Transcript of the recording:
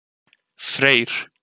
Freyr